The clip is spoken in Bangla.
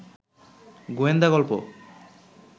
গোয়েন্দা গল্প